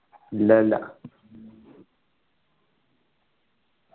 ഇല്ല ഇല്ല